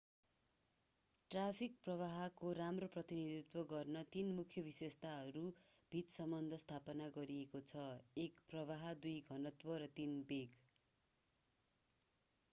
Traffic प्रवाहको राम्रो प्रतिनिधित्व गर्न तीन मुख्य विशेषताहरू बीच सम्बन्ध स्थापित गरिएको छ: 1 प्रवाह 2 घनत्व र 3 वेग।